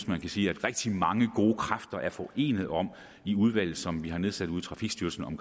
man kan sige rigtig mange gode kræfter er forenet om i udvalget som vi har nedsat under trafikstyrelsen om